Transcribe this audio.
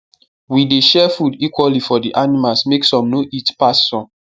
we dey share the food equally for the animals make some no eat pass some